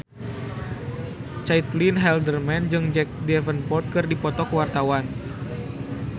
Caitlin Halderman jeung Jack Davenport keur dipoto ku wartawan